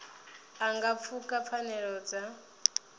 a nga pfuka pfanelo dza